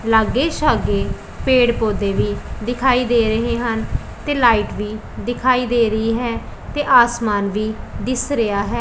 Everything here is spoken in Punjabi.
ਲੱਗੇ ਸੱਗੇ ਪੇੜ ਪੌਧੇ ਵੀ ਦਿਖਾਈ ਦੇ ਰਹੇ ਹਨ ਤੇ ਲਾਈਟ ਵੀ ਦਿਖਾਈ ਦੇ ਰਹੀ ਹੈ ਤੇ ਆਸਮਾਨ ਵੀ ਦਿੱਸ ਰਿਹਾ ਹੈ।